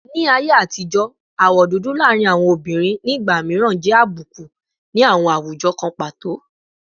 Ni aye atijo, awọ dudu laarin awọn obinrin ni igba miiran abuku ni awọn awujọ kan pato